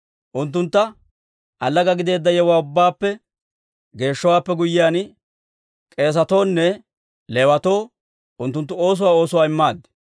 Unttuntta allaga gideedda yewuwaa ubbaappe geeshshowaappe guyyiyaan, k'eesatoonne Leewatoo unttunttu oosuwaa oosuwaa immaaddi.